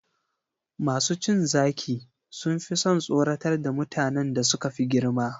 Masu cin zaki sun fi son tsoratar da mutanen da suka fi girma.